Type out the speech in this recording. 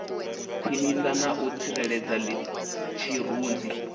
khwinisa na u tsireledza tshirunzi